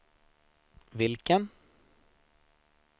vilken